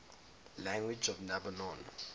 languages of lebanon